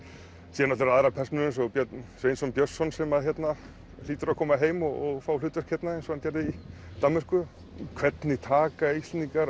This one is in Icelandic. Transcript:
síðan aðrar persónur eins og Björn Sveinsson Björnsson sem að hérna hlýtur að koma heim og fá hlutverk hérna eins og hann gerði í Danmörku hvernig taka Íslendingar